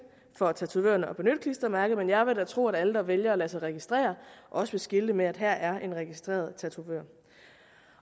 for tatovørerne at benytte klistermærket men jeg vil da tro at alle der vælger at lade sig registrere også vil skilte med at her er en registreret tatovør